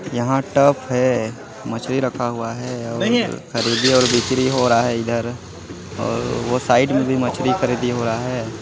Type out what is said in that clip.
यहाँ टप है मछली रखा हुआ है और खरीदी बिक्री हो रहा है इधर वो साइड में भी मछली खरीदी हो रहा है।